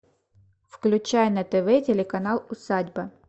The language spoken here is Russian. включай на тв телеканал усадьба